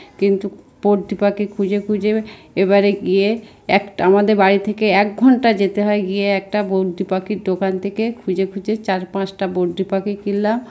কিন্তু বনটি পাখি খুঁজে খুঁজে এবারে গিয়ে একটা আমাদের বাড়ি থেকে এক ঘন্টা যেতে হয় গিয়ে একটা বনটি পাখির দোকান থেকে খুঁজে খুঁজে চার-পাঁচটা বনটি পাখি কিনলাম।